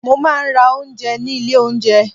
Mo máa ń rà oúnjẹ ní ilé oúnjẹ.